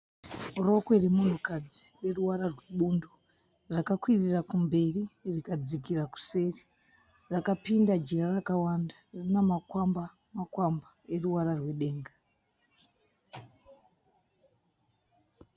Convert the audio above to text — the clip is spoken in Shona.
Rokwe remunhukadzi rine ruvara rwebundo. Rakakwirira kumberi rikadzikira kuseri, rakapinda jira rakawanda rina makwamba-makwamba eruvara rwedenga.